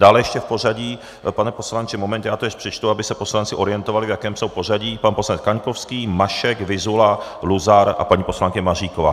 Dále ještě v pořadí, pane poslanče, moment, já to ještě přečtu, aby se poslanci orientovali, v jakém jsou pořadí: pan poslanec Kaňkovský, Mašek, Vyzula, Luzar a paní poslankyně Maříková.